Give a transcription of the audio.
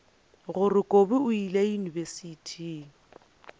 gore kobi o ile yunibesithing